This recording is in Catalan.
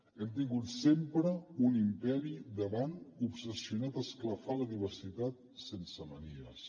hem tingut sempre un imperi davant obsessionat a esclafar la diversitat sense manies